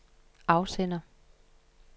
afsender